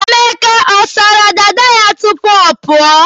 Emeka ọ sara dada ya tupu ọ pụọ?